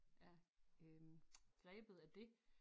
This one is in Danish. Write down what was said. Er øh grebet af det